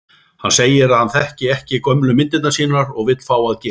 Hún segir að hann þekki gömlu myndirnar sínar og vill fá að gera